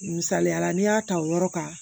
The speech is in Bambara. Misaliyala n'i y'a ta o yɔrɔ kan